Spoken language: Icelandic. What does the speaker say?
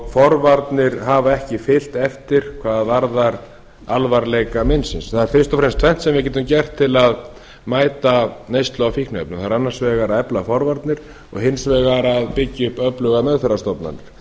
forvarnir hafa ekki fylgt eftir hvað varðar alvarleika meinsins það er fyrst og fremst tvennt sem við getum gert til að mæta neyslu á fíkniefnum það er annars vegar að efla forvarnir og hins vegar að byggja upp öflugar meðferðarstofnanir